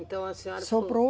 Então a senhora. Sobrou.